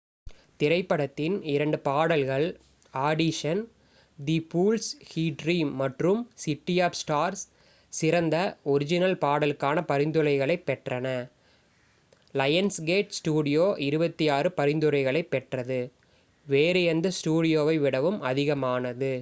திரைப்படத்தின் இரண்டு பாடல்கள் audition the fools who dream மற்றும் சிட்டி ஆஃப் ஸ்டார்ஸ் சிறந்த ஒர்ஜினல் பாடலுக்கான பரிந்துரைகளைப் பெற்றன. லயன்ஸ்கேட் ஸ்டுடியோ 26 பரிந்துரைகளைப் பெற்றது - வேறு எந்த ஸ்டுடியோவை விடவும் அதிகமானது